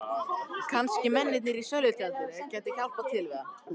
Kannski mennirnir í sölutjaldinu gætu hjálpað til við það.